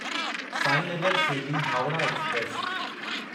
Sainagar Shirdi Howrah express